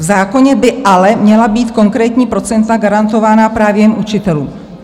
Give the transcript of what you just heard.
V zákoně by ale měla být konkrétní procenta garantována právě jen učitelům.